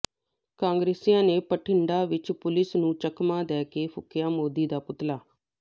ਕਾਂਗਰਸੀਆਂ ਨੇ ਬਠਿੰਡਾ ਵਿੱਚ ਪੁਲੀਸ ਨੂੰ ਚਕਮਾ ਦੇ ਕੇ ਫੂਕਿਆ ਮੋਦੀ ਦਾ ਪੁਤਲਾ